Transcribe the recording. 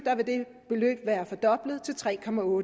vil det være fordoblet til tre